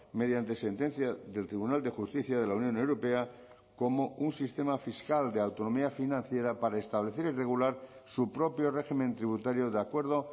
mediante sentencia del tribunal de justicia de la unión europea como un sistema fiscal de autonomía financiera para establecer y regular su propio régimen tributario de acuerdo